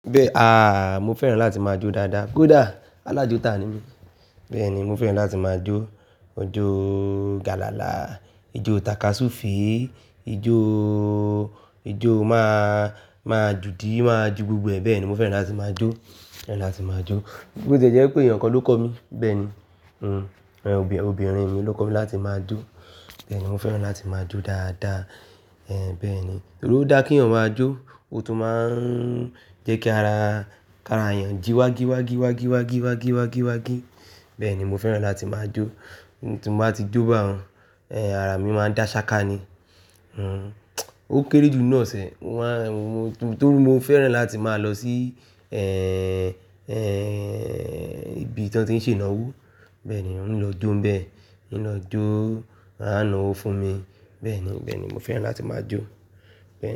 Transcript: Bẹ́ẹ̀ à, mo fẹ́ràn láti máa jó dáadáa. Kódà! Alájọtà ni mí. Bẹ́ẹ̀ ni, mo fẹ́ràn láti máa jó. Ijó galala, ijó takasufe, ijó, ijó má, máa ju di, máa ju gbogbo ẹ̀. Bẹ́ẹ̀ ni, mo fẹ́ràn láti máa jó. Fẹ́ràn láti máa jó. Bó ti e jẹ́ pé ẹyan kan ló kọ́ mi. Bẹ́ẹ̀ ni, em, obìnrin mi ló kọ́ mi láti máa jó. Bẹ́ẹ̀ ni, mo fẹ́ràn láti máa jó dáadáa. Ẹ̀h, bẹ́ẹ̀ ni. Ó dá kí eyan máa jó, ó tún máa ń jẹ́ kí ara, kí ara èèyàn jí wági wági wági wági wági wági wági. Bẹ́ẹ̀ ni, mo fẹ́ràn láti máa jó. Ti n bá ti jó bá hun, ẹ́, ara mi máa dá ṣáka ni. Hmm, ó kéré jù nnu osẹ̀. Wá, mo, tó, tó bí mo fẹ́ràn láti máa lọ sí, ẹ́ẹ́, ẹ́ẹ́, ibi tí wọ́n ti ń ṣe ìnáwó. Bẹ́ẹ̀ ni, oun lọ jó ń bẹ. Oun lọ jó, a náwó fún mi. Bẹ́ẹ̀ ni, bẹ́ẹ̀ ni mo fẹ́ràn láti máa jó. Bẹ́ẹ̀ ni.